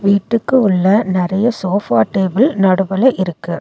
வீட்டுக்கு உள்ள நெறைய சோஃபா டேபிள் நடுவுல இருக்கு.